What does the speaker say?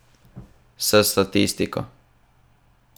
S statistiko.